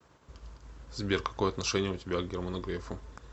сбер какое отношение у тебя к герману грефу